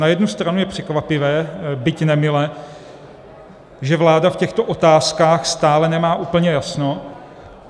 Na jednu stranu je překvapivé, byť nemile, že vláda v těchto otázkách stále nemá úplně jasno.